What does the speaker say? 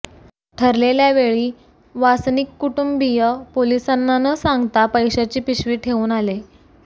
ठरलेल्या वेळी वासनिक कुटुंबीय पोलिसांना न सांगता पैशाची पिशवी ठेऊन आले